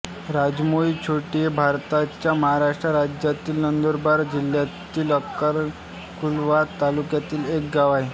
राजमोहीछोटी हे भारताच्या महाराष्ट्र राज्यातील नंदुरबार जिल्ह्यातील अक्कलकुवा तालुक्यातील एक गाव आहे